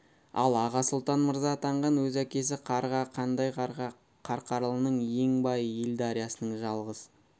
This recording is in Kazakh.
ал аға сұлтан мырза атанған өз әкесі қарға қандай қарға қарқаралының ен байлық ел дариясының жалғыз